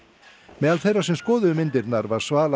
meðal þeirra sem skoðuðu myndirnar var Svala